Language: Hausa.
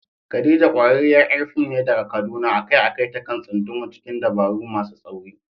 Khadija, ƙwararriyar ƴar fim ce daga Kaduna, a kai a kai ta kan tsunduma cikin dabaru masu tsauri.